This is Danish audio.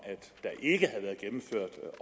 at